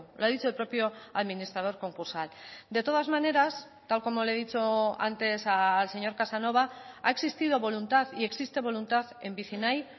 lo ha dicho el propio administrador concursal de todas maneras tal como le he dicho antes al señor casanova ha existido voluntad y existe voluntad en vicinay